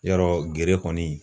Yɔrɔ gere kɔni